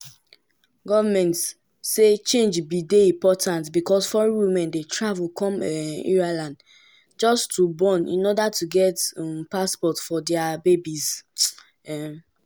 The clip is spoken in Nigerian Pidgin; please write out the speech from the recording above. goment say change bin dey important becos foreign women dey travel come um ireland just to born in order to get eu passport for dia babies. um